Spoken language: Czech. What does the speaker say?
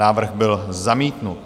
Návrh byl zamítnut.